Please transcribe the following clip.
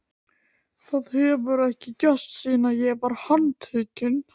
Það hefur ekki gerst síðan ég var handtekinn.